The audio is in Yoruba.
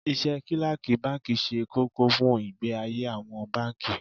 Iṣẹ́ Kílákì báńkì ṣe kókó fún ìgbé ayé àwọn báńkì.